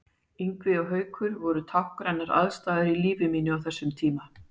Ingvi og Haukur voru táknrænar andstæður í lífi mínu á þessum tíma.